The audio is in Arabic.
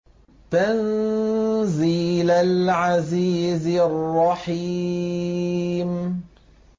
تَنزِيلَ الْعَزِيزِ الرَّحِيمِ